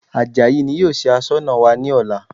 Àjàyí ni yóò ṣe Aṣọ́nà wa ní ọ̀la